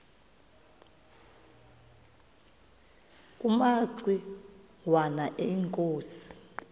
kumaci ngwana inkosi